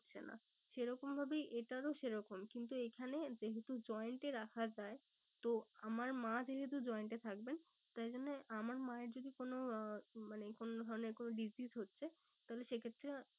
না সেরকম ভাবেই এটারও সে রকম কিন্তু এখানে যেহেতু joined এ রাখা যায়। তো আমার মা যেহেতু joined এ থাকবেন। তাই জন্যে আমার মা এর যদি কোনো আহ মানে কোনো ধরণের কোনো disease হচ্ছে তাহলে সে ক্ষেত্রে